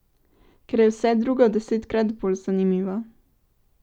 Ker je vse drugo desetkrat bolj zanimivo.